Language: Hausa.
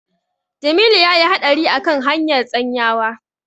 Jamilu ya yi haɗari a kan hanyar Tsanyawa.